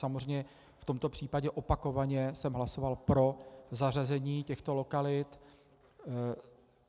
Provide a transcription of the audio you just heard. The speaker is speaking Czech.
Samozřejmě v tomto případě opakovaně jsem hlasoval pro zařazení těchto lokalit.